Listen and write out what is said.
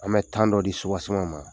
An bɛ dɔ di ma